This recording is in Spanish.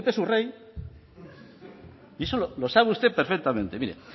su rey y eso lo sabe usted perfectamente mire